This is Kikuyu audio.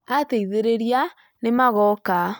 Ateithĩrĩria nĩ magooka